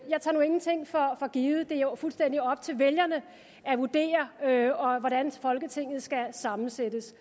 jeg tager nu ingenting for givet det er jo fuldstændig op til vælgerne at vurdere hvordan folketinget skal sammensættes